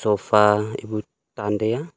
sofa ebu tan tai a.